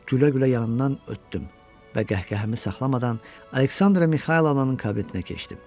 Gülə-gülə yanından ötdüm və qəhqəhəmi saxlamadan Aleksandra Mixaylonanın kabinetinə keçdim.